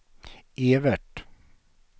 Evert